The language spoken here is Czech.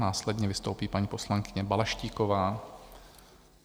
Následně vystoupí paní poslankyně Balaštíková.